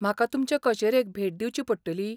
म्हाका तुमचे कचेरेक भेट दिवची पडटली?